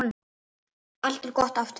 Allt er gott aftur.